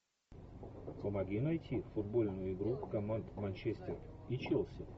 помоги найти футбольную игру команд манчестер и челси